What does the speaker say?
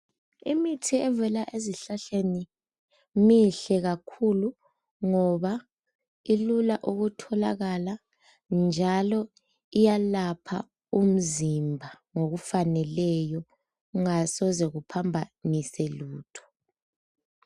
Imithi evela ezihlahleni mihle kakhulu ngoba ilula ukutholakala njalo iyalapha umzimba ngokufaneleyo kungasize kuphambanise lutho.